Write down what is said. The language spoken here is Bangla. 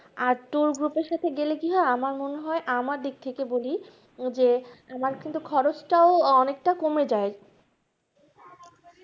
আর tour group এর সাথে গেলে কি হয় আমার মনে হয় আমার দিক থেকে বলি যে আমার কিন্তু খরচটাও অনেকটা কমে যাই